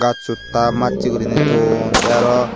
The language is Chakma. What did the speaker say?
sut ta masay gori naie ton tay arow.